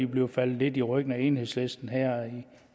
bliver faldet lidt i ryggen af enhedslisten her